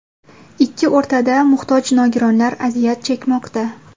Ikki o‘rtada muhtoj nogironlar aziyat chekmoqda.